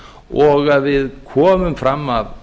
og að við komum fram af